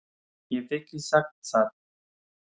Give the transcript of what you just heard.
Ég hef ekki sagt það!